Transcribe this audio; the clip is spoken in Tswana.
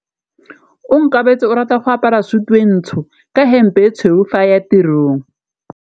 Onkabetse o rata go apara sutu e ntsho ka hempe e tshweu fa a ya tirong.